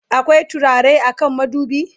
akwai turare a kan madubi?